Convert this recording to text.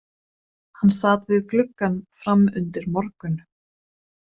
Hann sat við gluggann fram undir morgun.